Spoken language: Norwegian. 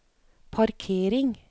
parkering